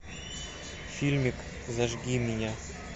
фильмик зажги меня